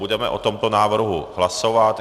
Budeme o tomto návrhu hlasovat.